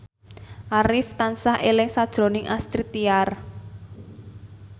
Arif tansah eling sakjroning Astrid Tiar